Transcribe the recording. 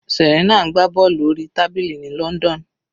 Serena ń gbá bọ́ọ̀lù orí tábìlì ní London.